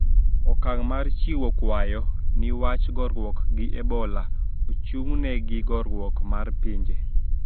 Okang` mar chiwo kwayo ni wach goruok gi ebola ochung`ne gi riwruok mar pinje